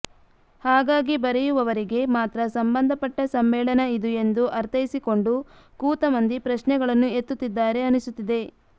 ಹಾಗಾಗಿ ಬರೆಯುವವರಿಗೆ ಮಾತ್ರ ಸಂಬಂಧಪಟ್ಟ ಸಮ್ಮೇಳನ ಇದು ಎಂದು ಅರ್ಥೈಸಿಕೊಂಡು ಕೂತ ಮಂದಿ ಪ್ರಶ್ನೆಗಳನ್ನು ಎತ್ತುತ್ತಿದ್ದಾರೆ ಅನಿಸುತ್ತಿದೆ